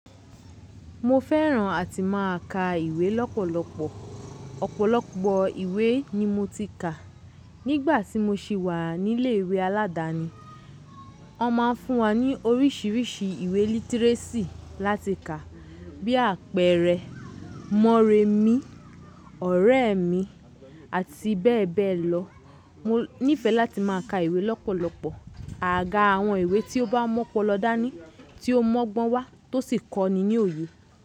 Mo fẹ́ràn àti máa ka ìwé lọ́pọ̀lọpọ̀. Ọ̀pọ̀lọpọ̀ ìwé ni mo ti kà. Nígbà tí mo ṣì wà ní ilé ìwé aládáni, wọn máa ń fún wa ní oríṣiríṣi ìwé lítíréṣì láti kà bí àpẹẹrẹ Mọrẹmí, ọ̀rẹ́ mi àti bẹ́ẹ̀ bẹ́ẹ̀ lọ. Mo nífẹ̀ẹ́ láti máa ka ìwé lọ́pọ̀lọpọ̀. Àga àwọn ìwé tí ó bá mu opọlọ̀ dá ní tí ó mọ́gbọ́n wá tó sì kọ́ni ní òye.